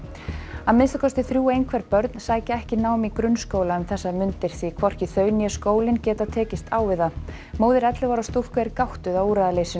að minnsta kosti þrjú einhverf börn sækja ekki nám í grunnskóla um þessar mundir því hvorki þau né skólinn geta tekist á við það móðir ellefu ára stúlku er gáttuð á úrræðaleysinu